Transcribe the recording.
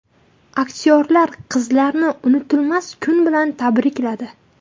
Aktyorlar qizlarini unutilmas kun bilan tabrikladi.